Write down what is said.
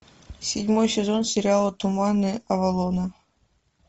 седьмой сезон сериала туманы авалона